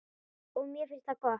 Og mér finnst það gott.